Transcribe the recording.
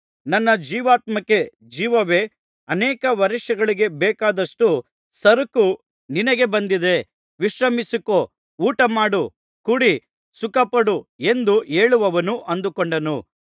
ನನ್ನ ಜೀವಾತ್ಮಕ್ಕೆ ಜೀವವೇ ಅನೇಕ ವರ್ಷಗಳಿಗೆ ಬೇಕಾದಷ್ಟು ಸರಕು ನಿನಗೆ ಬಂದಿದೆ ವಿಶ್ರಮಿಸಿಕೋ ಊಟಮಾಡು ಕುಡಿ ಸುಖಪಡು ಎಂದು ಹೇಳುವೆನು ಅಂದುಕೊಂಡನು